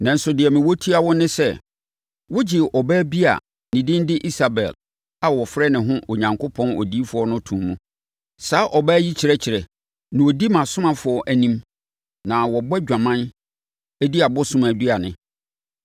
Nanso deɛ mewɔ tia wo ne sɛ, wogyee ɔbaa bi a ne din de Isabel, a ɔfrɛ ne ho, Onyankopɔn odiyifoɔ no too mu. Saa ɔbaa yi kyerɛkyerɛ, na ɔdi mʼasomafoɔ anim ma wɔbɔ adwaman di abosom aduane.